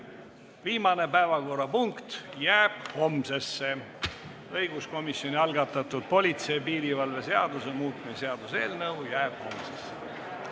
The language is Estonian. Viimane päevakorrapunkt, õiguskomisjoni algatatud politsei ja piirivalve seaduse muutmise seaduse eelnõu jääb homsesse.